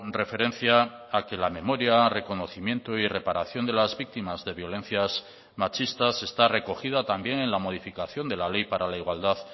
referencia a que la memoria reconocimiento y reparación de las víctimas de violencias machistas está recogida también en la modificación de la ley para la igualdad